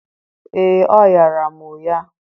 ee, ọ ghaara m ụgha.